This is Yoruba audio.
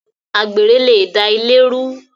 Àgbèrè le da ilé rú